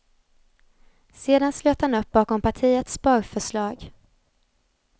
Sedan slöt han upp bakom partiets sparförslag.